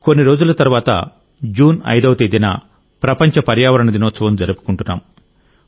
కొన్ని రోజుల తర్వాత జూన్ 5వ తేదీన ప్రపంచ పర్యావరణ దినోత్సవం జరుపుకుంటున్నాం